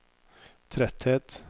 tretthet